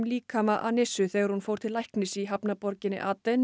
líkama þegar hún fór til læknis í hafnarborginni